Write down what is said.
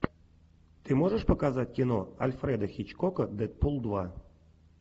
ты можешь показать кино альфреда хичкока дэдпул два